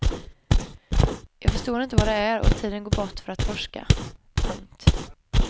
Jag förstår inte vad det är och går dit bort för att forska. punkt